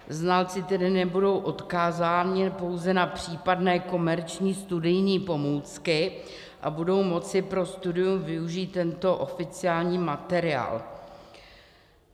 Znalci tedy nebudou odkázáni pouze na případné komerční studijní pomůcky a budou moci pro studium využít tento oficiální materiál.